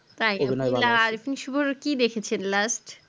তাই আরিফ ওশুভোর কি দেখেছেন last